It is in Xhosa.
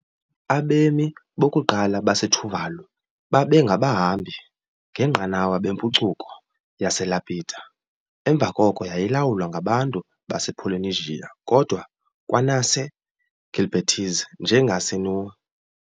Abemi bokuqala baseTuvalu babengabahambi ngenqanawa bempucuko yaseLapita, emva koko yayilawulwa ngabantu basePolynesia kodwa kwanaseGilbertese njengaseNui.